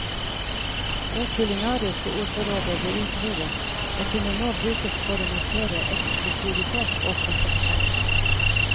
Det kulinariske ordforrådet ble utvidet og kunne nå brukes for å markere eksklusivitet og klasseforskjeller.